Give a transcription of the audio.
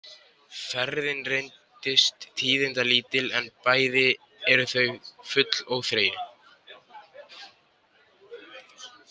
Ferðin reynist tíðindalítil en bæði eru þau full óþreyju.